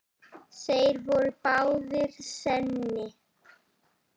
Þeir voru báðir séní.